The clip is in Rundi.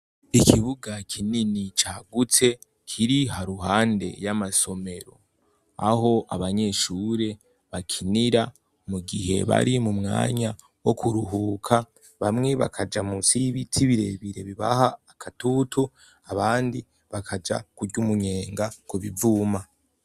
Ikibuga kinini cagutse kiri haruhande y'amasomero aho abanyeshure bakinira mu gihe bari mu mwanya wo kuruhuka bamwe bakaja musi y'ibiti birebire bibaha akatutu abandi bakaja kury’umunyenga ku bivuma.